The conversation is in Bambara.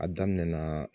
A daminɛ la